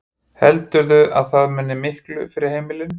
Heldurðu að það muni miklu fyrir heimilin?